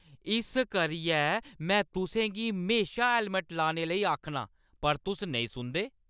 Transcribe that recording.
इस करियै में तुसें गी हमेशा हैलमट लाने लेई आखनां, पर तुस नेईं सुनदे।